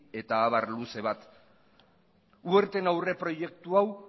eta abar luze bat werten aurreproiektu hau